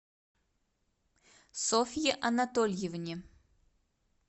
софье анатольевне